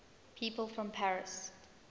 people from paris